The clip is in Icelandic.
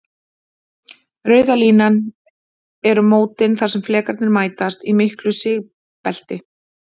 Rauða línan eru mótin þar sem flekarnir mætast, í miklu sigbelti.